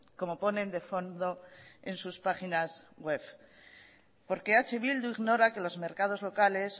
como ponen de fondo en sus páginas webs porque eh bildu ignora que los mercados locales